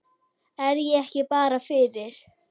Er ég ekki bara fyrir?